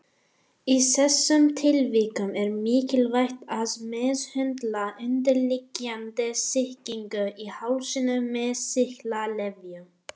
Í þessum tilvikum er mikilvægt að meðhöndla undirliggjandi sýkingu í hálsinum með sýklalyfjum.